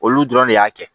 Olu dɔrɔn de y'a kɛ